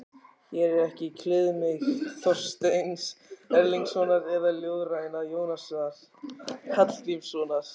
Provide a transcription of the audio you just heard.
Hér er ekki kliðmýkt Þorsteins Erlingssonar eða ljóðræna Jónasar Hallgrímssonar.